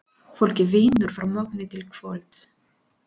Fólkið vinnur frá morgni til kvölds.